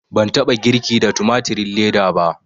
Ban taɓa girki da tumatirin leda ba